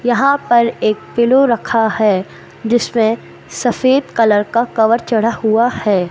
यहां पर एक पिलो रखा है जिसमें सफेद कलर का कवर चढ़ा हुआ है।